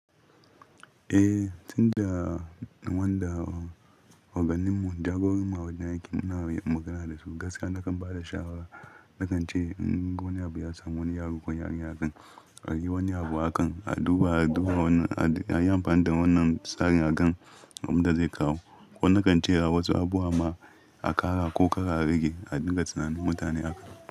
Eh, tun daga wanda oganinmu jagorarma a wajen aiki muna magana da su gaskiya na kan ba da shawara. Na kan ce in wani abu ya samu wani yaro ko yarinya kan a yi wani abu akan a duba, a duba wannan, a yi amfani da wannan tsarin agan abin da zai kawo. Ko na kan ce wasu abubuwa ma a ƙara ko ƙara rage a dinka tunanin mutane akan.